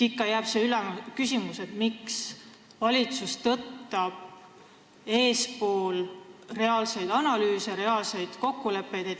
Ikka jääb üles küsimus, miks valitsus tõttab ette reaalsetest analüüsidest, reaalsetest kokkulepetest.